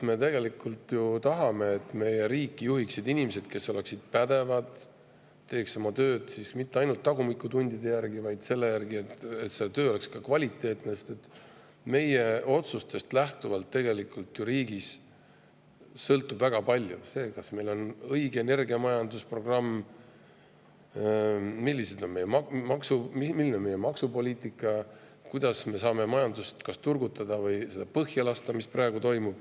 Me tegelikult ju tahame, et meie riiki juhiksid inimesed, kes on pädevad ega tee tööd mitte ainult tagumikutundide, vaid et see töö oleks ka kvaliteetne, sest meie otsustest sõltub riigis ju väga palju: see, kas meil on õige energiamajanduse programm, milline on meie maksupoliitika, kuidas me saame majandust kas turgutada või seda põhja lasta, nagu praegu toimub.